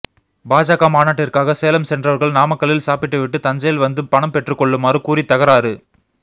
பாஜக மாநாட்டிற்காக சேலம் சென்றவர்கள் நாமக்கல்லில் சாப்பிட்டுவிட்டு தஞ்சையில் வந்து பணம் பெற்றுக்கொள்ளுமாறு கூறி தகராறு